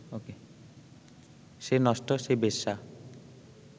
সে নষ্ট, সে বেশ্যা